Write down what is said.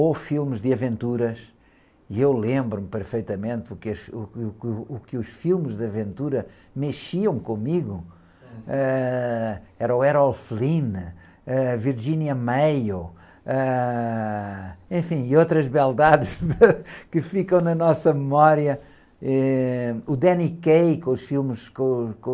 ou filmes de aventuras, e eu lembro-me perfeitamente que os, o, que, o, que os filmes de aventura mexiam comigo, ãh, era o Harold Flynn, Virginia Mayo, enfim, e outras beldades que ficam na nossa memória, o Danny Kaye com os filmes